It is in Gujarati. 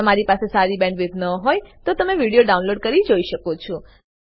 જો તમારી પાસે સારી બેન્ડવિડ્થ ન હોય તો તમે વિડીયો ડાઉનલોડ કરીને જોઈ શકો છો